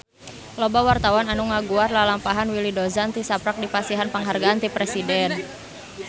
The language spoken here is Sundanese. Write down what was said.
Loba wartawan anu ngaguar lalampahan Willy Dozan tisaprak dipasihan panghargaan ti Presiden